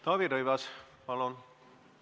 Taavi Rõivas, palun!